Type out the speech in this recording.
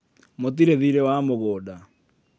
mũtiri thiĩrĩ wamũgũnda